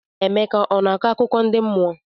Emeka ọ na-akọ akụkọ ndị mmụọ?